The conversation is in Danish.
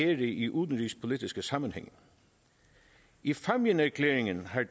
i udenrigspolitiske sammenhænge i fámjinserklæringen har